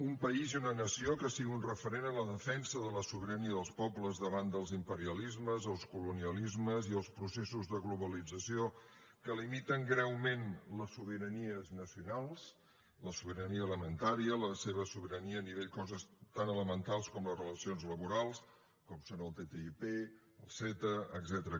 un país i una noció que sigui un referent en la defensa de la sobirania dels pobles davant dels imperialismes els colonialismes i els processos de globalització que limiten greument les sobiranies nacionals la sobirania alimentària la seva sobirania a nivell de coses tan elementals com les relacions laborals com són el ttip el ceta etcètera